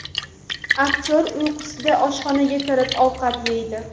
Aktyor uyqusida oshxonaga kirib, ovqat yeydi.